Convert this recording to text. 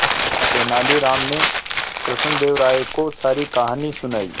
तेलानी राम ने कृष्णदेव राय को सारी कहानी सुनाई